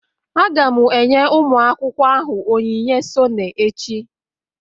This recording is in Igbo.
Aga m enye ụmụ akwụkwọ ahụ onyinye sone echi